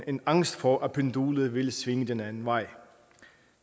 en angst for at pendulet vil svinge den anden vej